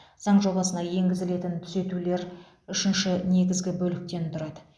заң жобасына енгізілетін түзетулер үшінші негізгі бөліктен тұрады